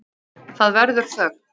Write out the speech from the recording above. Það verður þögn.